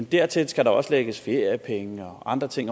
dertil skal der også lægges feriepenge og andre ting